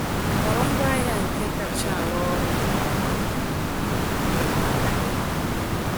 Họrọ ngwaahịa nke kacha arụ ọrụ nke ọma maka gị.